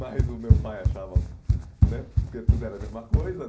- transcrição normal - Mas o meu pai achava né porque tudo era a mesma coisa, né?